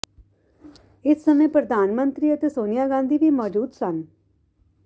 ਇਸ ਸਮੇਂ ਪ੍ਰਧਾਨਮੰਤਰੀ ਅਤੇ ਸੋਨੀਆ ਗਾਂਧੀ ਵੀ ਮੌਜੂਦ ਸਨ